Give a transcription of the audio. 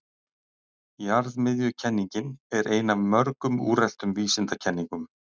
Jarðmiðjukenningin er ein af mörgum úreltum vísindakenningum.